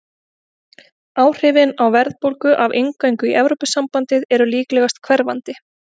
Áhrifin á verðbólgu af inngöngu í Evrópusambandið eru líklegast hverfandi.